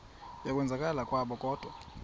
yokwenzakala kwabo kodwa